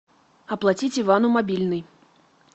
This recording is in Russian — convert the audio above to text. оплатить ивану мобильный